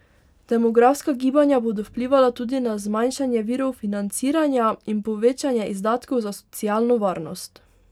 Demografska gibanja bodo vplivala tudi na zmanjšanje virov financiranja in povečanje izdatkov za socialno varnost.